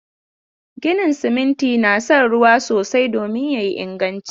Ginin siminti na son ruwa sosai domin ya yi inganci.